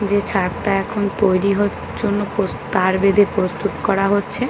যে ছাদ টা এখন তৈরী হ জন্য প্রো তার বেঁধে প্রস্তুত করা হচ্ছে। .